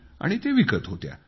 आणि ते विकत होत्या